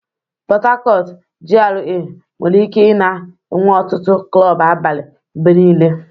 Port Harcourt GRA nwere ike ị-na enwe ọtụtụ klọb abalị mgbe niile.